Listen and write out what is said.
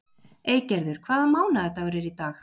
Eygerður, hvaða mánaðardagur er í dag?